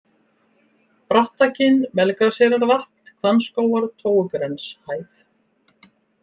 Brattakinn, Melgraseyrarvatn, Hvannskógar, Tófugrenshæð